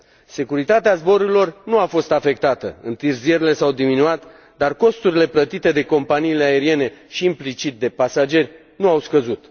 Securitatea zborurilor nu a fost afectată, întârzierile s au diminuat, dar costurile plătite de companiile aeriene și implicit de pasageri nu au scăzut.